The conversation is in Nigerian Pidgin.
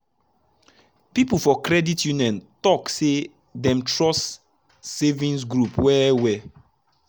people for credit union talk say dem trust savings group well well.